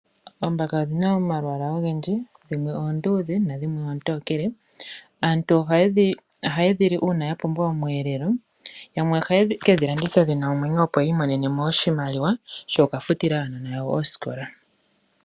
Oombaka odhi na omalwaala ogendji dhimwe oondudhe na dhimwe oontokele. Aantu ohaye dhi li uuna ya pumbwa osheelelwa yamwe ohaye kedhi landitha dhi na omwenyo opo yi imonenemo oshimaliwa shoku kafutila aanona yawo koosikola.